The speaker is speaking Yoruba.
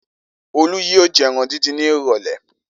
Olú yìí jẹ ẹran dídín ní ìrọ́lẹ́.